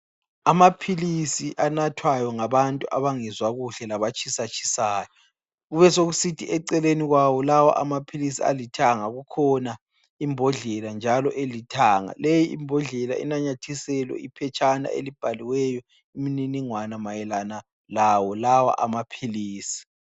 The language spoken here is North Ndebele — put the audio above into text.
Amaphilisi anathwayo ngabantu abangezwa kuhle labatshisatshisayo kubesekusithi eceleni kwawo lawa amaphilisi alithanga kukhona imbodlela njalo elithanga. Leyi imbodlela inanyathiselwe iphetshana elibhalweyo imininingwana mayelana lawo lawa amaphilisi.